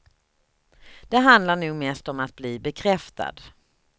Det handlar nog mest om att bli bekräftad.